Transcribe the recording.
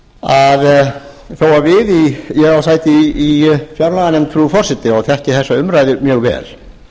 að þó að við ég á sæti í fjárlaganefnd frú forseti og þekki þessa umræðu mjög vel